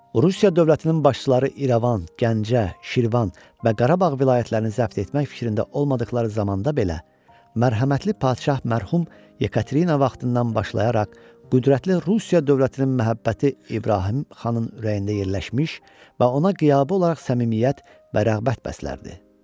Rusiya dövlətinin başçıları İrəvan, Gəncə, Şirvan və Qarabağ vilayətlərini zəbt etmək fikrində olmadıqları zamanda belə, mərhəmətli padşah mərhum Yekaterina vaxtından başlayaraq, qüdrətli Rusiya dövlətinin məhəbbəti İbrahim xanın ürəyində yerləşmiş və ona qiyabi olaraq səmimiyyət və rəğbət bəslərdi.